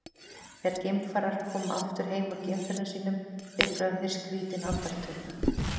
þegar geimfarar koma aftur heim úr geimferðum sínum upplifa þeir skrýtin andartök